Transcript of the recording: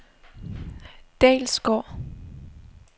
Dalsgård